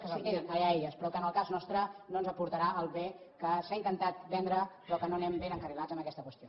que se’l quedin allà elles però que en el cas nos·tre no ens aportarà el bé que s’ha intentat vendre però que no anem ben encarrilats en aquesta qüestió